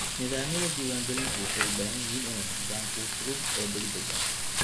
Nidaamyada diiwaangelintu waxay u baahan yihiin inay noqdaan kuwo fudud oo degdeg ah.